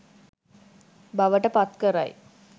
බවට පත් කරයි.